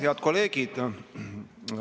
Head kolleegid!